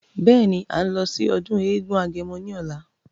Beeni, à ń lọ sí ọdún eégún agẹmọ ní ọ̀la.